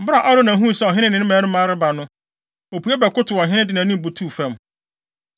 Bere a Arauna huu sɛ ɔhene ne ne mmarima reba no, opue bɛkotow ɔhene, de nʼanim butuw fam.